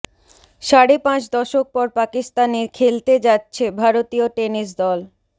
সাড়ে পাঁচ দশক পর পাকিস্তানে খেলতে যাচ্ছে ভারতীয় টেনিস দল